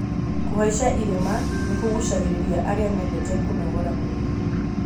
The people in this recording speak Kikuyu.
Kũhaica irĩma nĩ kũguucagĩrĩria arĩa mendete kũnogora mwĩrĩ.